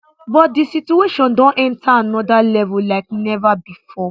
but di situation don enta anoda level like neva bifor